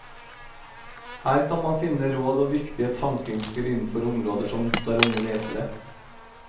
Her kan man finne råd og viktige tankeinnspill innenfor områder som opptar unge lesere.